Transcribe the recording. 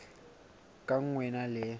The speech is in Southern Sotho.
ka nngwe e na le